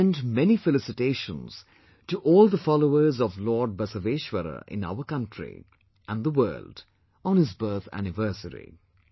I extend many felicitations to all the followers of Lord Basaveshwara in our country and the world on his birth anniversary